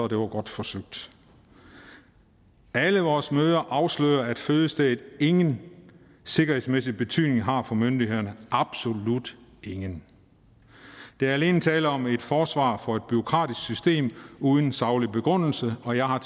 det var godt forsøgt alle vores møder afslører at fødestedet ingen sikkerhedsmæssig betydning har for myndighederne absolut ingen der er alene tale om et forsvar for et bureaukratisk system uden saglig begrundelse og jeg har